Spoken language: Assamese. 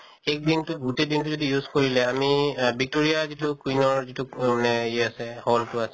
এক দিনতো গোটেই দিনতো যদি use কৰিলে আমি আ victoria যিটো queen ৰ যিটো মানে ই আছে hall টো আছে